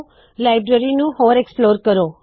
library ਦੀ ਹੋਰ ਪੜਤਾਲ ਕਰੇ